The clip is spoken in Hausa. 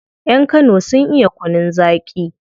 Yan kano sun iya kunun zaki